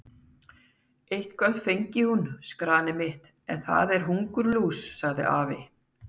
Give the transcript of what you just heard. Eitthvað fengi hún, skarnið mitt, en það er hungurlús, sagði afi.